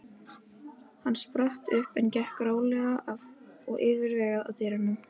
Hann spratt upp en gekk rólega og yfirvegað að dyrunum.